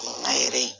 Nga yɛrɛ